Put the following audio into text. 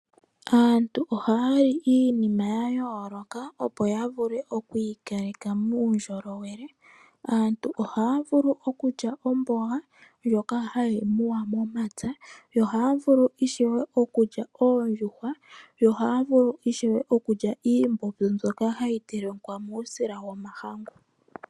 Aantu ohaya li ikulya ya yoolok, opo ya vule okwiikaleka muundjolowele. Aantu ohaya vulu okulya omboga ndjoka hayi muwa momapya, yo ohaya vulu ishewe okulya oondjuhwa , yo ohaya vulu ishewe okulya iimbombo mbyoka hayi telekwa muusila momahangu.